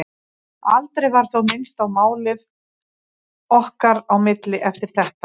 Aldrei var þó minnst á málið okkar á milli eftir þetta.